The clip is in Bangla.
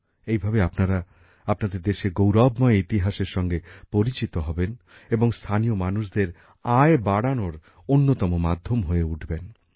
এইভাবে আপনারা আপনাদের দেশের গৌরবময় ইতিহাসের সঙ্গে পরিচিত হবেন এবং স্থানীয় মানুষদের আয় বাড়ানোর অন্যতম মাধ্যম হয়ে উঠবেন